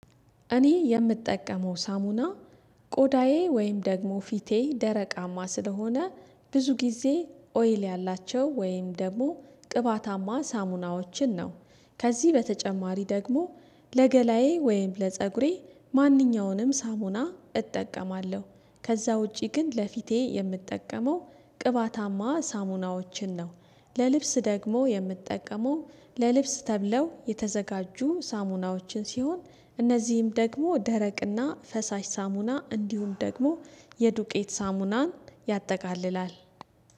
እኔ የምጠቀመው ሳሙና ቆዳዬ ወይም ደግሞ ፊቴ ደረቃማ ስለሆነ ብዙ ጊዜ ኦይል ያላቸው ወይም ደግሞ ቅባታማ ሳሙናዎችን ነው። ከዚህ በተጨማሪ ደግሞ ለገላዬ ወይም ለፀጉሬ ማንኛውንም ሳሙና እጠቀማለሁ። ከዛ ውጪ ግን ለፊቴ የምጠቀመው ቅባታማ ሳሙናዎችን ነው። ለልብስ ደግሞ የምትጠቀመው ለልብስ ተብለው የተዘጋጁ ሳሙናዎችን ሲሆን እነዚህም ደግሞ ደረቅና ፈሳሽ ሳሙና እንዲሁም ደግሞ የዱቄት ሳሙናን ያጠቃልላል።